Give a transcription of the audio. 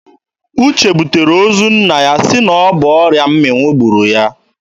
Uche butere ozu nna ya sị na ọ bụ ọrịa mmịnwụ gburu ya.